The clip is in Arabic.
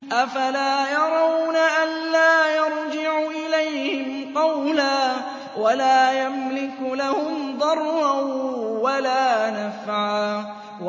أَفَلَا يَرَوْنَ أَلَّا يَرْجِعُ إِلَيْهِمْ قَوْلًا وَلَا يَمْلِكُ لَهُمْ ضَرًّا وَلَا نَفْعًا